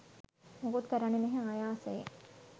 මොකුත් කරන්නේ නැහැ ආයාසයෙන්.